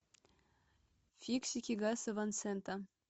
фиксики гаса ван сента